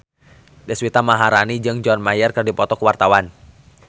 Deswita Maharani jeung John Mayer keur dipoto ku wartawan